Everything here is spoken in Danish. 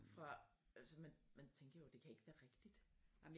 Fra altså man man tænker jo det kan ikke være rigtigt